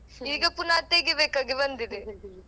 ಈಗ ಪುನಃ ತೆಗಿಬೇಕಾಗಿ ಬಂದಿದೆ.